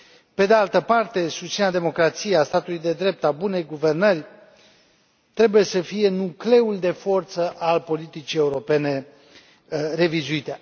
Pe de altă parte, susținerea democrației, a statului de drept, a bunei guvernări trebuie să fie nucleul de forță al politicii europene revizuite.